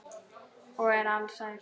Og er alsæll.